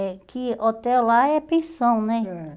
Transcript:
É, que hotel lá é pensão, né? Ãh